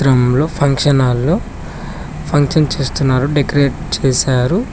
Function hall లో function చేస్తున్నారు decorate చేశారు.